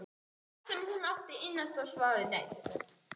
Allt sem hún átti innanstokks var horfið.